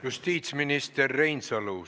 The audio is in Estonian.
Justiitsminister Reinsalu!